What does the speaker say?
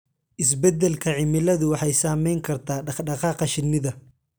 Isbeddelka cimiladu waxay saameyn kartaa dhaqdhaqaaqa shinnida.